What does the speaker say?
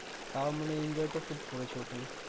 তাও মানে ইঞ্জয় টা খুব করেছি ওখানে